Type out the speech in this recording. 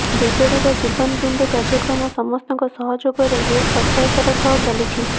ବିଜେଡିର ଜୀବନ ବିନ୍ଦୁ କାର୍ଯ୍ୟକ୍ରମ ସମସ୍ତଙ୍କ ସହଯୋଗରେ ବେଶ ସଫଳତାର ସହ ଚାଲିଛି